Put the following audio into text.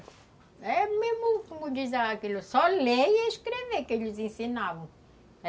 É mesmo como diz aquilo, só ler e escrever, que eles ensinavam.